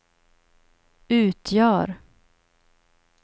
utgör